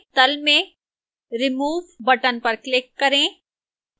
तल में remove button पर click करें